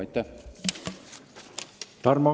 Aitäh!